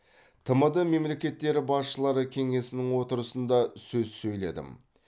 тмд мемлекеттері басшылары кеңесінің отырысында сөз сөйледім